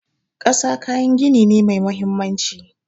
Ƙasa kayan gini ne mai mahimmanci.